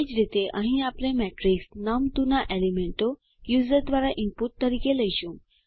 એ જ રીતે અહીં આપણે મેટ્રિક્સ નમ2 ના એલીમેન્ટો યુઝર દ્વારા ઇનપુટ તરીકે લઈશું